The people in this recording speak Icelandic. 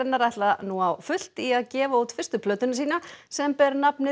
þeir ætla nú á fullt í að gefa út fyrstu plötuna sína sem ber nafnið